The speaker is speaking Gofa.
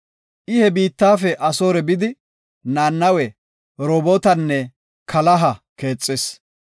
I he biittafe Asoore bidi, Nanawe, Rehobootanne Kalaha keexis.